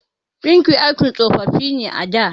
Ɗinki aikin tsofaffi ne a da.